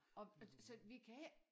Og øh så vi kan ik